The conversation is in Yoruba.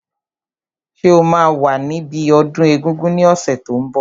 Ṣé o máa wà níbi ọdún egungun ní ọ̀sẹ̀ tó n bọ̀?